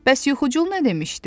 Bəs yuxucul nə demişdi?